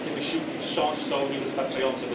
Ale te wysiłki wciąż są niewystarczające.